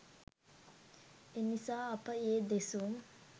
එනිසා අප ඒ දෙසුම්